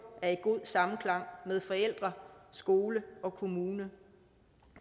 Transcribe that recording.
er i god samklang med forældre skole og kommune